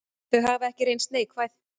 Þau hafi ekki reynst neikvæð.